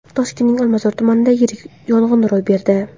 Toshkentning Olmazor tumanida yirik yong‘in ro‘y berdi.